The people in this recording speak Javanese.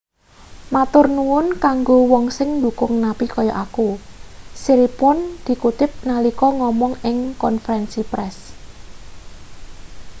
"matur nuwun kanggo wong sing ndukung napi kaya aku siriporn dikutip nalika ngomong ing konferensi press.